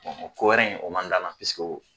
Ɔ kowɛrɛ in ye o man